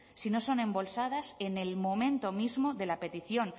si no son embolsadas en el momento mismo de la petición